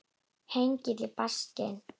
Hengill í baksýn.